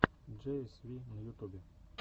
джей эс ви на ютубе